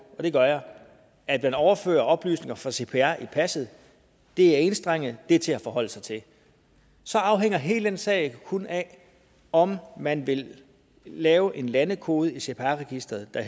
og det gør jeg at man overfører oplysninger fra cpr i passet det er enstrenget og det er til at forholde sig til så afhænger hele den sag kun af om man vil lave en landekode i cpr registeret der